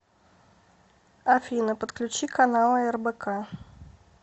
афина подключи каналы рбк